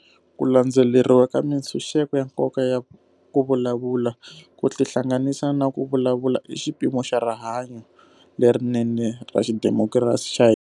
Ku landzeleriwa ka mitshuxeko ya nkoka ya ku vulavula, ku tihlanganisa na ku vulavula i xipimo xa rihanyu lerinene ra xidemokirasi xa hina.